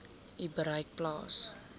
u bereik plaas